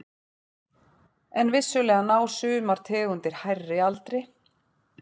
En vissulega ná sumar tegundir hærri aldri.